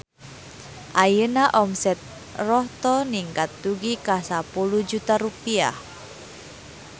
Ayeuna omset Rohto ningkat dugi ka 10 juta rupiah